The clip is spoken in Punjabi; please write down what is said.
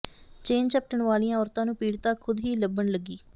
ਚੇਨ ਝਪਟਣ ਵਾਲੀਆਂ ਔਰਤਾਂ ਨੂੰ ਪੀੜਤਾ ਖ਼ੁਦ ਹੀ ਲੱਭਣ ਲੱਗੀ